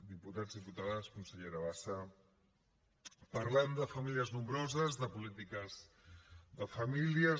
diputats diputades consellera bassa parlem de famílies nombroses de polítiques de famílies